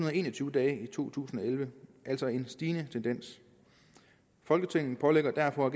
og en og tyve dage i to tusind og elleve altså en stigende tendens folketinget pålægger derfor